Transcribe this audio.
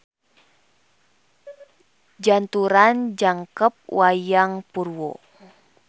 Janturan Jangkep Wayang Purwo.